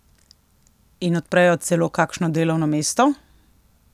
In odprejo celo kakšno delovno mesto?